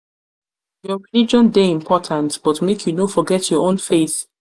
your religion dey important but make you no forget your own faith